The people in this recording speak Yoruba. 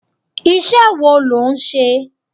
Iṣẹ́ wo lo ń ṣe?